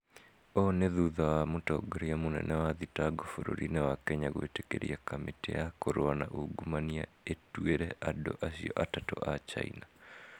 Ũũ nĩ thutha wa mũtongoria munene wa thitango bũrũriinĩ wa Kenya gwĩtĩkĩria kamĩtĩ ya kũrũa na ungumania ĩtuĩre andũ acio atatũ a China.